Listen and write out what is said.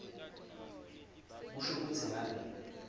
kusho kutsi ngabe